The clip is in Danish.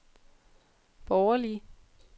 borgerlige